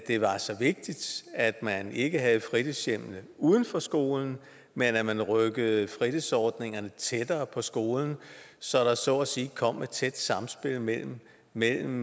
det var så vigtigt at man ikke havde fritidshjemmene uden for skolerne men at man rykkede fritidsordningerne tættere på skolerne så der så at sige kom et tæt samspil mellem mellem